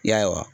Ya